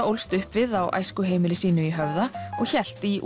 ólst upp við á æskuheimili sínu í Höfða og hélt í